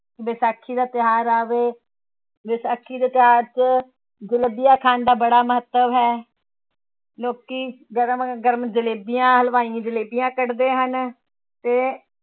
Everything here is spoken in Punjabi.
ਵਿਸਾਖੀ ਦਾ ਤਿਉਹਾਰ ਆਵੇ, ਵਿਸਾਖੀ ਦੇ ਤਿਉਹਾਰ ਚ ਜਲੇਬੀਆਂ ਖਾਣ ਦਾ ਬੜਾ ਮਹੱਤਵ ਹੈ ਲੋਕੀ ਗਰਮਾ ਗਰਮ ਜਲੇਬੀਆਂ, ਹਲਵਾਈ ਜਲੇਬੀਆਂ ਕੱਢਦੇ ਹਨ ਤੇ